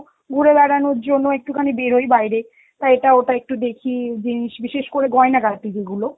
ঘুরে বেড়ানোর জন্য একটুখানি বেরোই বাইরে, তা এটা ওটা একটু দেখি জিনিস বিশেষ করে গয়না গাটি গু~ গুলো.